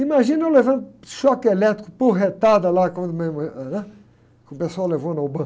Imagina eu levando choque elétrico porretada lá quando, que pessoal levou na.